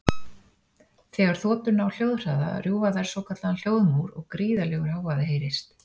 þegar þotur ná hljóðhraða rjúfa þær svokallaðan hljóðmúr og gríðarlegur hávaði heyrist